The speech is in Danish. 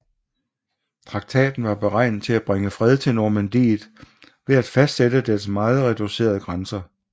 Traktaten var beregnet til at bringe fred til Normandiet ved at fastsætte dets meget reducerede grænser